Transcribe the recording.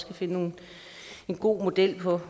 kan finde en god model på